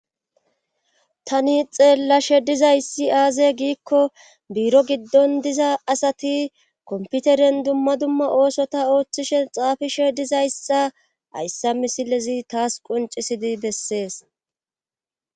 Tani xeelashe dizayssi aaze giikko bIIro giddon diza asati komputeren dumma dumma oosota ooththishe xaafishe dizaysxa ayssa misilezi taas qoncisidi bessees.